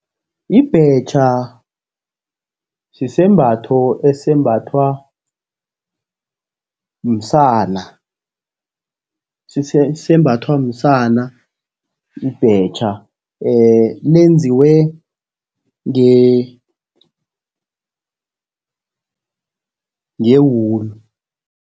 Ibhetjha sisembatho esembathwa msana, sembathwa msana ibhetjha lenziwe ngewulu.